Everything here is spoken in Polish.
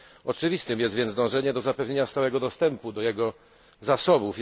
Oczywiste jest więc dążenie do zapewnienia stałego dostępu do jego zasobów.